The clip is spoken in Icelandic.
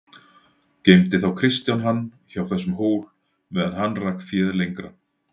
Geymdi þá Kristján hann hjá þessum hól meðan hann rak féð lengra.